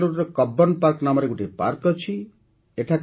ବେଙ୍ଗାଲୁରୁରେ Cubbon park ନାମରେ ଗୋଟିଏ ପାର୍କ ଅଛି